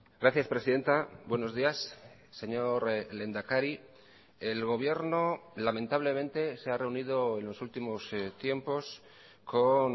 gracias presidenta buenos días señor lehendakari el gobierno lamentablemente se ha reunido en los últimos tiempos con